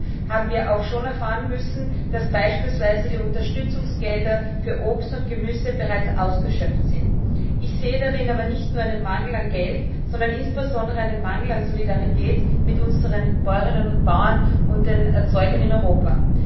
Allerdings haben wir auch schon erfahren müssen, dass beispielsweise die Unterstützungsgelder für Obst und Gemüse bereits ausgeschöpft sind. Ich sehe darin aber nicht nur einen Mangel an Geld, sondern insbesondere einen Mangel an Solidarität mit unseren Bäuerinnen und Bauern und den Erzeugern in Europa.